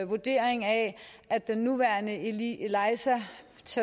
vurdering af at den nuværende elisa